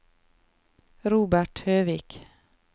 Robert Høvik